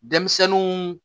Denmisɛnninw